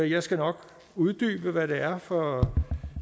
jeg skal nok uddybe hvad det er for